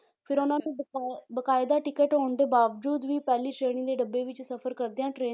ਫਿਰ ਉਹਨਾਂ ਤੋਂ ਬਕਾ~ ਬਕਾਇਦਾ ਟਿੱਕਟ ਹੋਣ ਦੇ ਬਾਵਜ਼ੂਦ ਵੀ ਪਹਿਲੀ ਸ਼੍ਰੇਣੀ ਦੇ ਡੱਬੇ ਵਿੱਚ ਸਫ਼ਰ ਕਰਦਿਆਂ train